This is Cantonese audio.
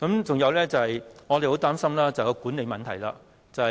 再者，我們十分擔心高鐵的管理問題。